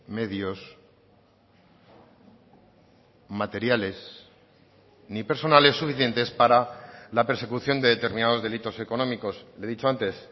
medios materiales ni personales suficientes para la persecución de determinados delitos económicos le he dicho antes